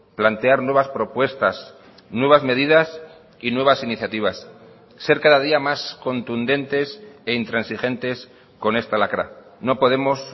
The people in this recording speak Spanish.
plantear nuevas propuestas nuevas medidas y nuevas iniciativas ser cada día más contundentes e intransigentes con esta lacra no podemos